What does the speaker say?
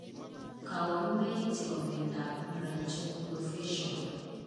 Kaoarunoik chepo miondap branchiooculofacial